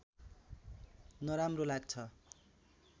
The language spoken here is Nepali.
नराम्रो लाग्छ